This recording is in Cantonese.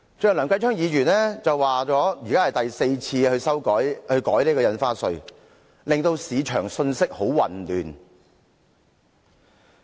正如梁繼昌議員剛才所說，這是政府第四次改變印花稅的舉措，令市場信息混亂。